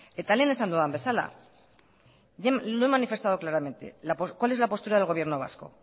eta lehen esan dudan bezala lo he manifestado claramente cuál es la postura del gobierno vasco